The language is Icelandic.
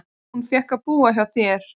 Ég fékk að búa hjá þér.